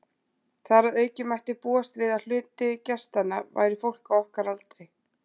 Þar að auki mætti búast við, að hluti gestanna væri fólk á okkar aldri.